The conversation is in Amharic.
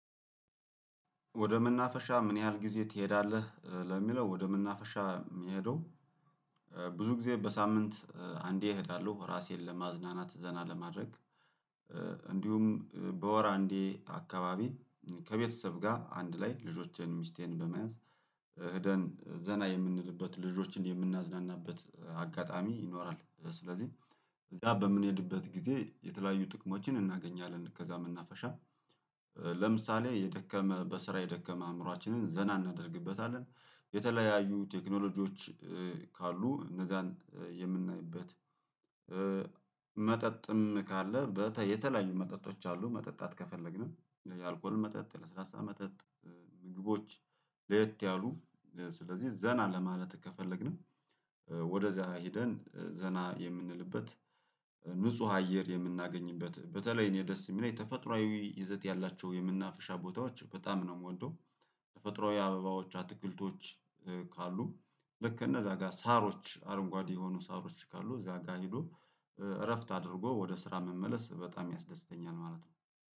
ወደ መናፈሻ ምን ያህል ጊዜ ትሄዳለህ? ለሚለው ወደ መናፈሻ የሚሄደው ብዙ ጊዜ በሳምንት አንዴ እሄዳለሁ ራሴን ለማዝናናት ዘና ለማድረግ። እንዲሁም በወር አንዴ አካባቢ ከቤተሰብ ጋር አንድ ላይ ልጆቼን ሚስቴን በመያዝ ህደን ዘና የምንልበት ልጆችን የምናዝናናበት አጋጣሚ ይኖራል። ስለዚህ ያ በምንሄድበት ጊዜ የተለያዩ ጥቅሞችን እናገኛለን። ከዛ መናፈሻ ለምሳሌ የደከመ በስራ የደከመ አእምሮአችንን ዘና እናደርግበታለን። የተለያዩ ቴክኖሎጂዎች ካሉ እነዛን የምናይበት። መጠጥም ካለ የተለያዩ መጠጦች አሉ መጠጣት ከፈለግንም የአልኮል መጠጥ የለስላሳ መጠጥ። ምግቦች ለየት ያሉ ስለዚህ ዘና ለማለት ከፈለግንም። ወደዚያ ሄደን ዘና የምንልበት። ንጹህ አየር የምናገኝበት በተለይ እኔ ደስ የሚለኝ ተፈጥሮአዊ ይዘት ያላቸው የምናፍሻ ቦታዎች በጣም ነው የምወደው። የፈጥሮ አበባዎች አትክልቶች ካሉ ልክ እነዛ ጋር ሳሮች አረንጓዴ የሆኑ ሳሮች ካሉ እዛ ጋር ሄዶ እረፍት አድርጎ ወደ ስራ መመለስ በጣም ያስደስተኛል ማለት ነው